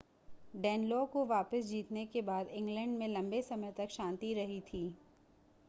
Danelaw को वापिस जीतने के बाद इंग्लैंड में लम्बे समय तक शान्ति रही थी